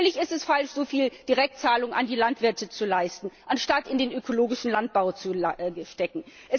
Natürlich ist es falsch, so viele Direktzahlungen an die Landwirte zu leisten, anstatt sie in den ökologischen Landbau zu stecken.